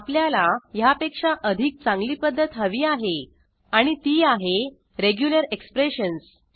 आपल्याला ह्यापेक्षा अधिक चांगली पध्दत हवी आहे आणि ती आहे रेग्युलर एक्सप्रेशन्स